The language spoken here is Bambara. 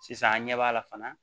Sisan an ɲɛ b'a la fana